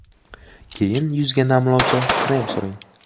Keyin yuzga namlovchi krem suring.